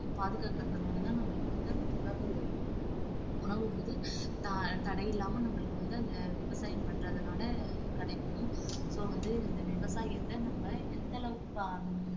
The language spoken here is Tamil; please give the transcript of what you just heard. பாதுகாக்கிறதுனால தான் நம்மளுக்கு வந்து அந்த உணவு உணவு வந்து தடையில்லாம நம்மளுக்கு வந்து அந்த விவசாயம் பண்றதுனால கிடைக்கும் so வந்து இந்த விவசாயத்தை நம்ம எந்த அளவுக்கு